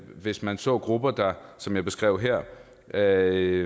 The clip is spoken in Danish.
hvis man så grupper der som jeg beskrev her havde